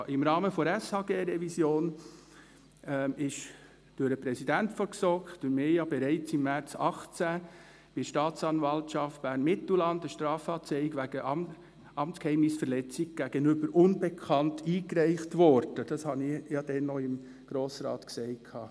Im Rahmen der SHG-Revision wurde durch den Präsidenten der GSoK, durch mich, bereits im März 2018 bei der Staatsanwaltschaft Bern-Mittelland eine Strafanzeige wegen Amtsgeheimnisverletzung gegenüber Unbekannt eingereicht, weil damals die SHG-Verordnung an die Öffentlichkeit gelangt ist.